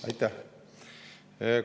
Aitäh!